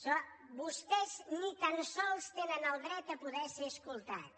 segons vostès ni tan sols tenen el dret a poder ser escoltats